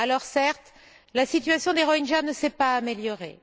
Certes, la situation des Rohingyas ne s'est pas améliorée